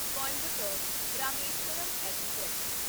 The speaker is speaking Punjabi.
ਕੋਇੰਬਟੋਰ ਰਾਮੇਸ਼ਵਰਮ ਐਕਸਪ੍ਰੈਸ